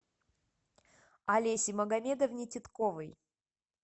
олесе магомедовне титковой